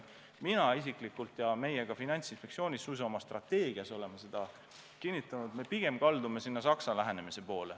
Mina isiklikult ja me suisa Finantsinspektsiooni strateegias oleme seda kinnitanud, et me pigem kaldume Saksa lähenemise poole.